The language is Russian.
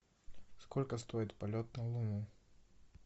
сколько стоит полет на луну